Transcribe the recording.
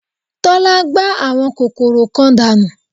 Tọ́lá gbá àwọn kòkòrò kan dànù